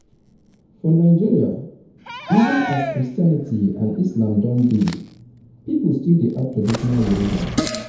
for nigeria even as christianity and islam don dey pipo still dey add traditional religion